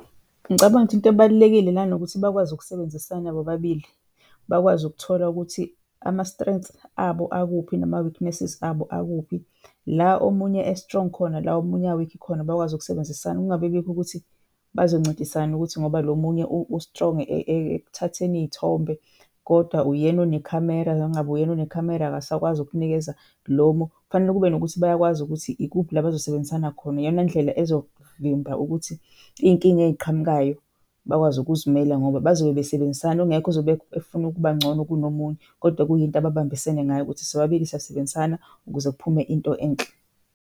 Ngicabanga ukuthi into ebalulekile lana ukuthi bakwazi ukusebenzisana bobabili, bakwazi ukuthola ukuthi ama-strength abo akuphi nama-weaknesses abo akuphi. La omunye e-strong khona, la omunye a-weak khona bakwazi ukusebenzisa kungabibikho ukuthi bazoncintisana ukuthi ngoba lo omunye u-strong ekuthatheni iy'thombe kodwa uyena onekhamera, angabe uyena onekhamera akasakwazi ukukunikeza lo . Kufanele kube nokuthi bayakwazi ukuthi ikuphi la bezosebenzisana khona. Iyona ndlela ezovimba ukuthi iy'nkinga ey'qhamukayo bakwazi ukuzimela ngoba bazobe besebenzisana kungekho ozobe efuna ukuba ngcono kunomunye, kodwa kuyinto ababambisene ngayo ukuthi sobabili siyasebenzisana ukuze kuphume into enhle.